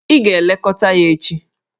Ị ga-elekọta ya echi!